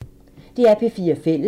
DR P4 Fælles